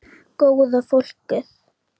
Góða fólkið.